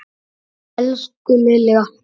Elsku Lilja.